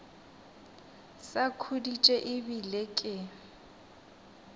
sa khuditše e bile ke